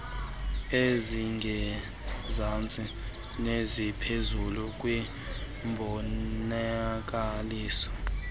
ezingezantsi neziphezulu kwimbonakaliso